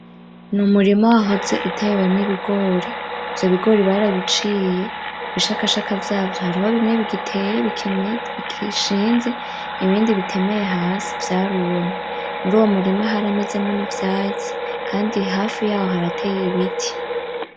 N'Umurima wahoze utewemwo Ibigori, ivyo bigori barabiciye, ibishakashaka vyavyo hariho bimwe bigiteye bigishinze, ibindi bitemeye hasi vyarumye, muruwo m'urima haramezemwo ivyatsi Kandi hafi yaho harateye ibiti.